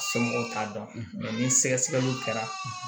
Somɔgɔw t'a dɔn ni sɛgɛsɛgɛliw kɛra